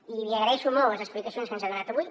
i li agraeixo molt les explicacions que ens ha donat avui